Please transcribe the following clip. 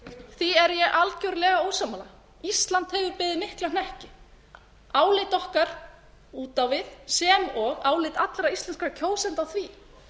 því er ég algjörlega ósammála ísland hefur beðið mikinn hnekki álit okkar út á við sem og álit allra íslenskra kjósenda á því